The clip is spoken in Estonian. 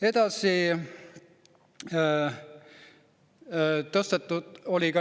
Edasi.